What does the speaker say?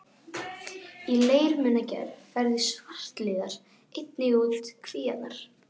Í leirmunagerð færðu svartliðar einnig út kvíarnar.